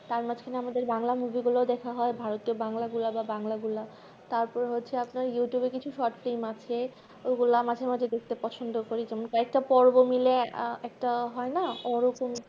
তার মাঝ খানে আমাদের ব্যাংলা movie গুলাও দেখা হয় ভারতে বাংলা গুলা বা বাংলা গুলা তারপর হচ্ছে আপনার youtube এ কিছু short film আছে ওগুলা মাঝে মাঝে দেখতে পছন্দ করি যেমন কয়েকটা পর্ব মিলে একটা হয়না ওই রকমই